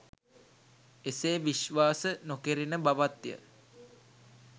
එසේ විශ්වාස නොකෙරෙන බවත්ය.